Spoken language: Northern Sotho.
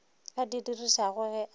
a di dirišago ge a